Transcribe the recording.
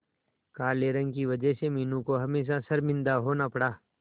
काले रंग की वजह से मीनू को हमेशा शर्मिंदा होना पड़ा